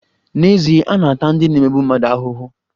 N'ezie, a na-ata ndị na-emegbu mmadụ ahụhụ.